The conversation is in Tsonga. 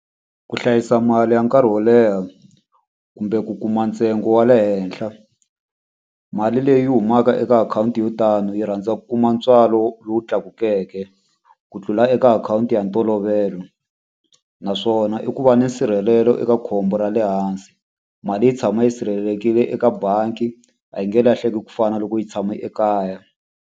Ku hlayisa mali ya nkarhi wo leha, kumbe ku kuma ntsengo wa le henhla. Mali leyi humaka eka akhawunti yo tani yi rhandza ku kuma ntswalo lowu tlakukeke ku tlula eka akhawunti ya ntolovelo. Naswona i ku va na nsirhelelo eka khombo ra le hansi. Mali yi tshama yi sirhelelekile eka bangi, a yi nge lahleki ku fana na loko yi tshame ekaya.